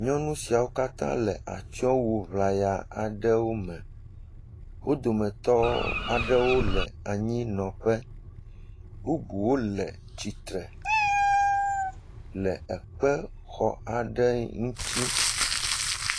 Nyɔnu siawo katã le atsyɔ̃wu ŋlaya aɖewo me. Wo dometɔ aɖewo le anyinɔƒe bubuwo le tsitre le ekpexɔ aɖe ŋuti.